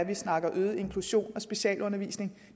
vi snakker om øget inklusion og specialundervisning